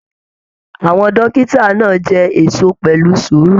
Àwọn dókítà náà jẹ èso pẹlú sùúrù.